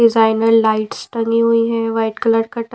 designer lights टनी हुई है वाइट कलर का--